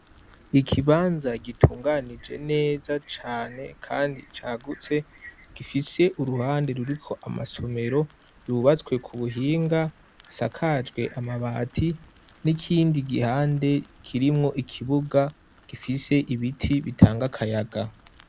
Ikibanza gitunganije neza cane kandi cagutse, gifise uruhande ruriko amasomero yubatswe ku buhinga, asakajwe amabati n'ikindi gihande kirimwo ikibuga gifise ibiti bitanga akayaga.